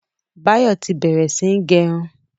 Báyọ̀ tí bẹ̀rẹ̀ sí ń gẹrun.